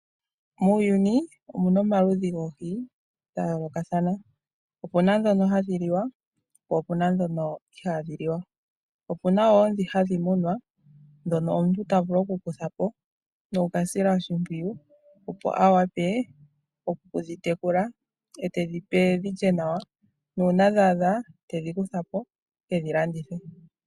Muuyuni omuna omaludhi goohi dha yoolokathana, opuna ndhono hadhi liwa po opuna ndhono ihaadhi liwa, opuna woo ndhi hadhi munwa ndhono omuntu ta vulu okukutha po noku ka sila oshimpwiyu opo a wape okudhitekula etedhi pe dhilye nawa nuuna dha adha, tedhi kutha po ekedhi landithe.